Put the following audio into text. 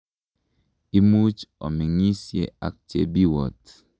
Imuch omeng'isye ak Chebiwott.